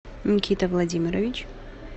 никита владимирович